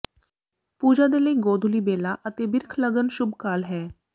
ਪੂਜਾ ਦੇ ਲਈ ਗੋਧੁਲੀ ਬੇਲਾ ਅਤੇ ਬਿ੍ਰਖ ਲਗਨ ਸ਼ੁੱਭ ਕਾਲ ਹੈ